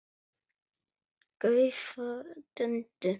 gaufa, dunda.